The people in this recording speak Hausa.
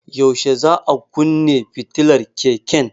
Yaushe za a kunne fitilar keken?